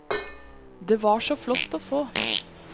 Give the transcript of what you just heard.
Det var så flott å få.